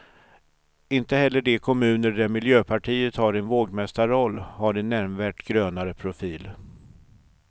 Inte heller de kommuner där miljöpartiet har en vågmästarroll har en nämnvärt grönare profil.